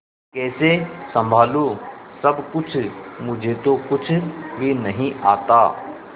कैसे संभालू सब कुछ मुझे तो कुछ भी नहीं आता